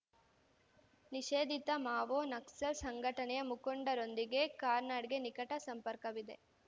ನಿಷೇಧಿತ ಮಾವೋ ನಕ್ಸಲ್‌ ಸಂಘಟನೆಯ ಮುಖಂಡರೊಂದಿಗೆ ಕಾರ್ನಾಡ್‌ಗೆ ನಿಕಟ ಸಂಪರ್ಕವಿದೆ